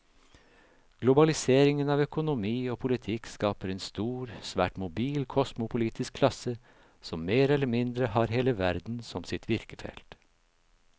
Globaliseringen av økonomi og politikk skaper en stor, svært mobil kosmopolitisk klasse som mer eller mindre har hele verden som sitt virkefelt.